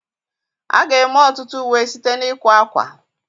A ga-eme ọtụtụ uwe site na ịkwa akwa